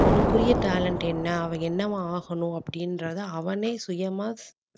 அவனுக்குரிய talent என்ன அவன் என்னவா ஆகணும் அப்படின்றதை அவனே சுயமா